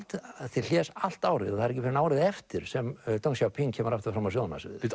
til hlés allt árið og það er ekki fyrr en árið eftir sem deng Xiaoping kemur aftur fram á sjónarsviðið bíddu